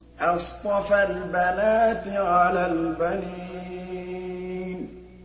أَصْطَفَى الْبَنَاتِ عَلَى الْبَنِينَ